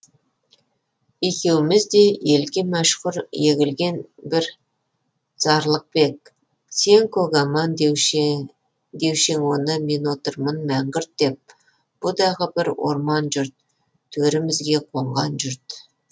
екеуміз де елге мәшһүр егілген бір зарлық па ек сен көкаман деуші ең оны мен отырмын мәңгүрт деп бұ дағы бір орман жұрт төрімізге қонған жұрт